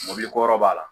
Mɔbiliko yɔrɔ b'a la